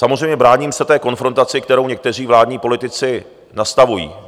Samozřejmě bráním se té konfrontaci, kterou někteří vládní politici nastavují.